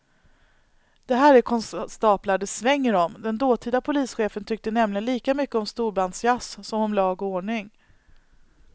Det här är konstaplar det svänger om, den dåtida polischefen tyckte nämligen lika mycket om storbandsjazz som om lag och ordning.